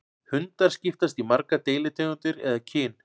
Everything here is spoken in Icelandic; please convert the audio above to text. Hundar skiptast í margar deilitegundir eða kyn.